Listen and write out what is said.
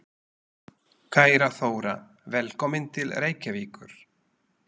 Kæra Þóra. Velkomin til Reykjavíkur.